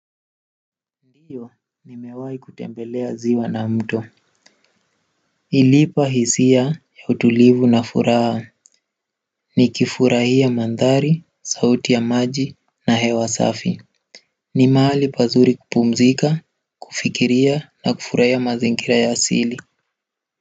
Ndiyo nimewahi kutembelea ziwa na mto. Iliipa hisia ya utulivu na furaha nikifurahia mandhari, sauti ya maji na hewa safi ni mahali pazuri kupumzika, kufikiria na kufurahia mazingira ya asili.